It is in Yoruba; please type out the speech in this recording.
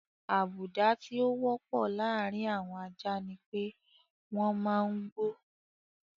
Àbùdá tí ó wọ́pọ̀ láàárin àwọn ajá ni pé wọ́n máa ń gbó.